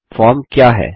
form क्या है